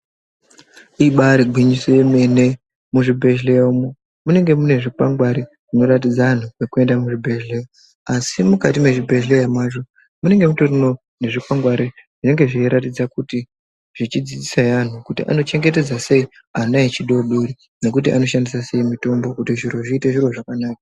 Ibaari gwinyiso yemene, muzvibhedhleya umu munenge mune zvikwangwari zvinoratidza antu pekuenda muzvibhedhleya. Asi mukati mwezvibhedhleya mwacho munenge mutoriwo nezvikwangwari zvinenge zveiratidza kuti zvechidzidzisahe anhu kuti anochengetedza sei ana echidoodori nekuti anoshandisa sei mitombo kuti zviro zviite zviro zvakanaka.